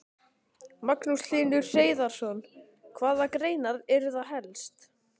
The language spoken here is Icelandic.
Magnús Hlynur Hreiðarsson: Hvaða greinar eru það helst?